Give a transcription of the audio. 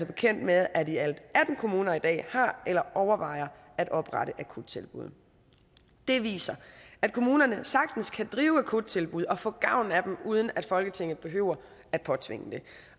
bekendt med at i alt atten kommuner i dag har eller overvejer at oprette akuttilbud det viser at kommunerne sagtens kan drive akuttilbud og få gavn af dem uden at folketinget behøver at påtvinge det